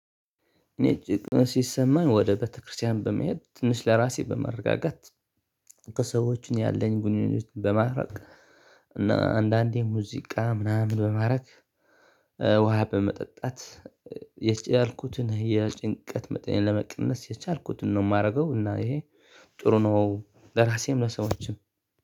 እኔ ጭንቀት ሲሰማኝ ወደ ቤተክርስቲያን በመሄድ ትንሽ ለራሴ በመረጋጋት ከሰዎችን ያለኝ ጉንኙነቶችን በማራቅ እና አንዳንዴ ሙዚቃ ምናምን በማራቅ። ውሃ በመጠጣት የቻልኩትን የጭንቀት መጠን ለመቀነስ የቻልኩትን ነው የማደርገው። እና ይሄ ጥሩ ነው ለራሴም ለሰዎችም።